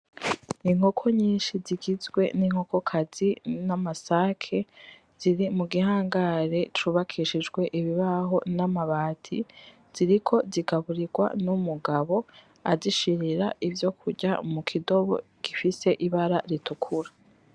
Inkoko nyinshi zigizwe n'inkokokazi n'amasake ziri mugihangare cubakishijwe ibibaho n'amabati ziriko zigaburigwa n'umugabo azishirira ivyo kurya mukidobo gifise ibara ritukura.